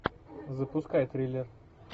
запускай триллер